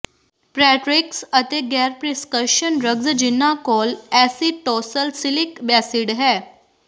ਪ੍ਰੈਟਰਿਕਸ ਅਤੇ ਗੈਰ prescription drugs ਜਿਹਨਾਂ ਕੋਲ ਐਸੀਟੌਸਲਸੀਲਿਕ ਐਸਿਡ ਹੈ